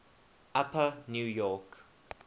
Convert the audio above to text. upper new york